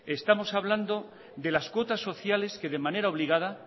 estamos hablando de las cuotas sociales que de manera obligada